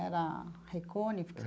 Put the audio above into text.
Era Ray Conniff?